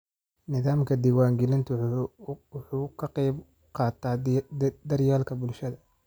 Nidaamka diwaangelintu waxa uu ka qayb qaataa daryeelka bulshada.